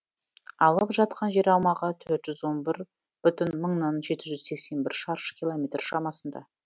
алып жатқан жер аумағы төрт жүз он бір бүтін мыңнан жеті жүз сексен бір шаршы километр шамасында